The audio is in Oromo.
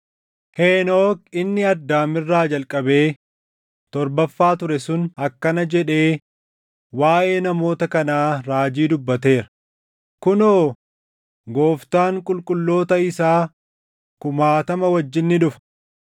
Henook inni Addaam irraa jalqabee torbaffaa ture sun akkana jedhee waaʼee namoota kanaa raajii dubbateera: “Kunoo, Gooftaan qulqulloota isaa kumaatama wajjin ni dhufa;